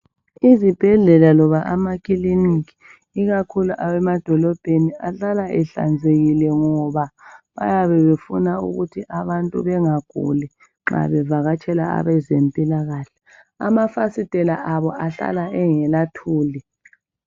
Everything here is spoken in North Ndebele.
Izibhedlela loba amakilinika ikakhulu awemadolobheni ahlala ehlanzekile ngoba bayabebefuna ukuthi abantu bengaguli nxa bevakatshela abezempilakahle amafasitela abo ahlala engelathuli